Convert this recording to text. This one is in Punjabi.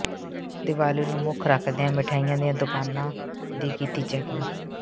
ਦੀਵਾਲੀ ਨੂੰ ਮੁੱਖ ਰੱਖਦਿਆਂ ਮਿਠਆਈਆਂ ਦੀਆਂ ਦੁਕਾਨਾਂ ਦੀ ਕੀਤੀ ਚੈਕਿੰਗ